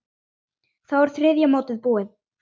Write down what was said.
Þá er þriðja mótið búið.